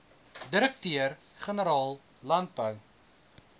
direkteur generaal landbou